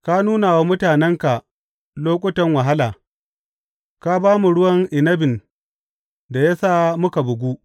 Ka nuna wa mutanenka lokutan wahala; ka ba mu ruwan inabin da ya sa muka bugu.